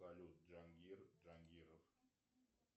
салют джангир джангиров